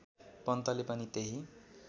पन्तले पनि त्यही